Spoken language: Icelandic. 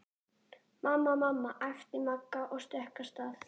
Mamma, mamma æpti Magga og stökk af stað.